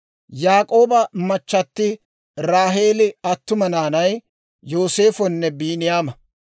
Yaak'ooba machchatti Raaheeli attuma naanay Yooseefonne Biiniyaama.